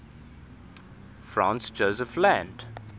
franz josef land